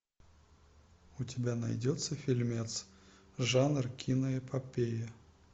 у тебя найдется фильмец жанр киноэпопея